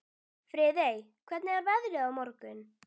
Friðey, hvernig er veðrið á morgun?